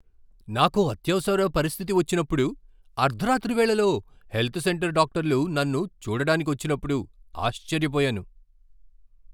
నాకో అత్యవసర పరిస్థితి వచ్చినప్పుడు అర్ధరాత్రి వేళలో హెల్త్ సెంటర్ డాక్టర్లు నన్ను చూడడానికొచ్చినప్పుడు ఆశ్చర్యపోయాను.